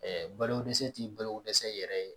balokodɛsɛ ti balokodɛsɛ yɛrɛ ye